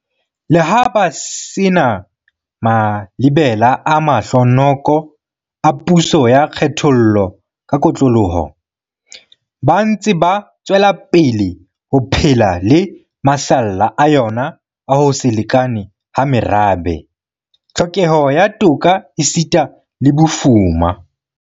Leha ba se na malebela a mahlo noko a puso ya kgethollo ka kotloloho, ba ntse ba tswelapele ho phela le masalla a yona a ho se lekane ha merabe, tlhokeho ya toka esita le bofuma.